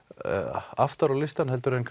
aftar á listann heldur en